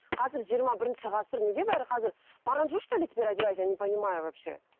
қазір жиырма бірінші ғасыр неге бәрі қазір парандже что ли теперь одевать я не понимаю вообще